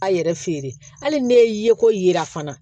A yɛrɛ feere hali ne ye ye ko yira fana